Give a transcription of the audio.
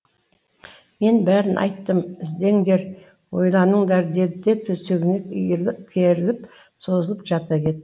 мен бәрін айттым іздеңдер ойланыңдар деді де төсегіне керіліп созылып жата кет